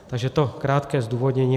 Takže tolik krátké zdůvodnění.